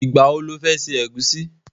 Ìgbà wo lo fẹ́ ṣe ẹ̀gúsí?